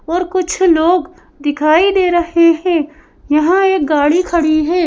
और कुछ लोग दिखाई दे रहे हैं यहां एक गाड़ी खड़ी है।